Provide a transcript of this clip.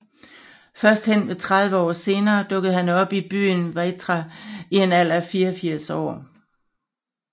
Først henved 30 år senere dukkede han op i byen Weitra i en alder af 84 år